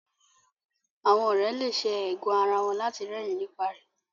Àwọn òré le ṣe ẹgàn àrà wón lati rẹrin nípa rẹ